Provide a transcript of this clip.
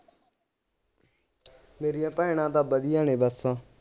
ਮੇਰੀਆਂ ਭੈਣਾਂ ਤਾਂ ਵਧੀਆ ਨੇ ਬੱਸ